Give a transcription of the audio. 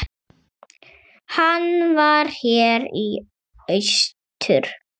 Hann var hér í austur.